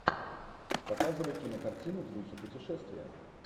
показывай кинокартину в духе путешествия